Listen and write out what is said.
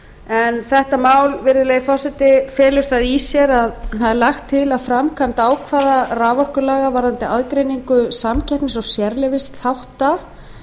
en þetta mál virðulegi forseti felur það í sér að það er lagt til að framkvæmd ákvarðana raforkulaga varðandi aðgreiningu samkeppnis og sérleyfisþátta